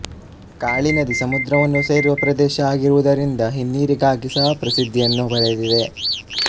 ಕಾಳಿ ನದಿ ಸಮುದ್ರವನ್ನು ಸೇರುವ ಪ್ರದೇಶ ಆಗಿರುವದರಿಂದ ಹಿನ್ನೀರಿಗಾಗಿ ಸಹ ಪ್ರಸಿಧ್ಧಿಯನ್ನು ಪಡೆದಿದಿದೆ